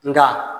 Nka